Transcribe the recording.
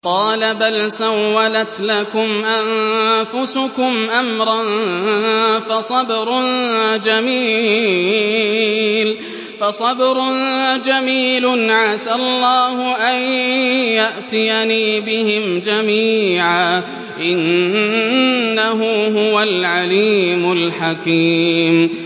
قَالَ بَلْ سَوَّلَتْ لَكُمْ أَنفُسُكُمْ أَمْرًا ۖ فَصَبْرٌ جَمِيلٌ ۖ عَسَى اللَّهُ أَن يَأْتِيَنِي بِهِمْ جَمِيعًا ۚ إِنَّهُ هُوَ الْعَلِيمُ الْحَكِيمُ